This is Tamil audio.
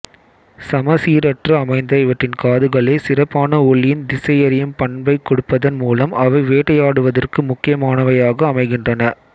சமச்சீரற்று அமைந்த இவற்றின் காதுகளே சிறப்பான ஒலியின் திசையறியும் பண்பைக் கொடுப்பதன் மூலம் அவை வேட்டையாடுவதற்கு முக்கியமானவையாக அமைகின்றன